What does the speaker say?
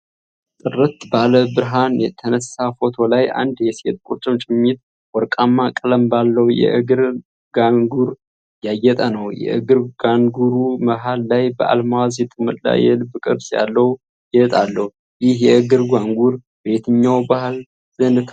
ጥርት ባለ ብርሃን የተነሳ ፎቶ ላይ አንድ የሴት ቁርጭምጭሚት ወርቃማ ቀለም ባለው የእግር ጋንጉር ያጌጠ ነው። የእግር ጋንጉሩ መሀል ላይ በአልማዝ የተሞላ የልብ ቅርጽ ያለው ጌጥ አለው። ይህ የእግር ጋንጉር በየትኛው ባህል ዘንድ ታዋቂ ነው?